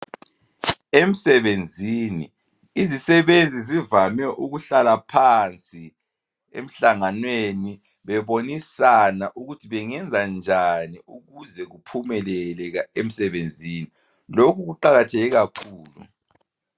Emsbenzini izisebenzi zivame ukuhlala phansi emhlanganweni bebonisana ukuthi bengenza njani ukuze kuphumelele emsebenzini. Lokhu kuqakatheke kakhulu